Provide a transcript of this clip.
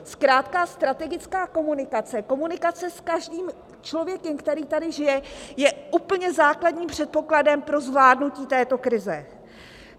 Zkrátka strategická komunikace, komunikace s každým člověkem, který tady žije, je úplně základním předpokladem pro zvládnutí této krize.